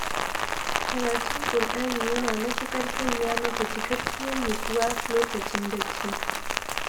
Karatun ƙur'ani yana matuƙar sanya mata cikakkiyar nutsuwa lokacin bacci